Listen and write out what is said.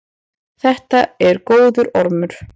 Þetta er góður ormur.